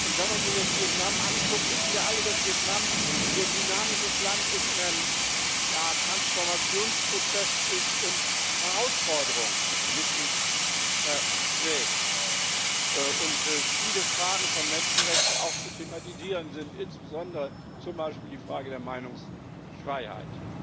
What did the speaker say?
Wenn man sich jetzt Vietnam anschaut, wissen wir alle, dass Vietnam ein sehr dynamisches Land ist, in einem Transformationsprozess ist und Herausforderungen mit sich trägt und viele Fragen von Menschenrechten auch zu thematisieren sind, insbesondere zum Beispiel die Frage der Meinungsfreiheit.